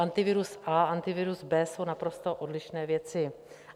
Antivirus A, Antivirus B jsou naprosto odlišné věci.